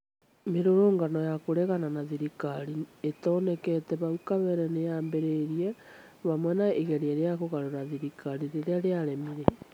Mĩrũrũngano ya kũregana na thirikari ĩtonekete hau kabere nĩ yaambirie hamwe na igerea rĩa kũgarũra thirikari rĩrĩa rĩaremire